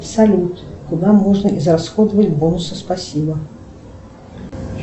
салют куда можно израсходовать бонусы спасибо